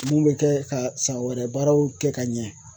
Mun bɛ kɛ ka san wɛrɛ baaraw kɛ ka ɲɛ